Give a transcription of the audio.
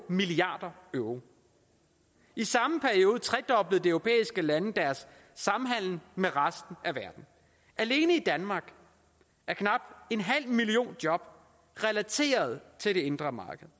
milliard euro i samme periode tredoblede de europæiske lande deres samhandel med resten af verden alene i danmark er knap en halv million job relateret til det indre marked